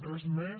res més